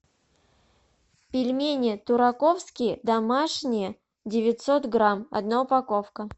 пельмени тураковские домашние девятьсот грамм одна упаковка